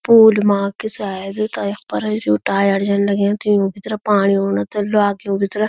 पूल माक की सायद ता यख पर यु टायर जन लग्युंत युंक तरफ पाणी औणा ते ल्वाकियुं की तरह।